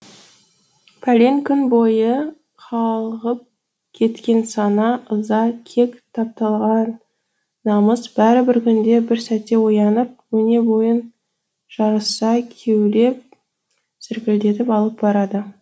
пәлен күн бойы қалғып кеткен сана ыза кек тапталған намыс бәрі бір күнде бір сәтте оянып өне бойын жарыса кеулеп зіркілдетіп алып барады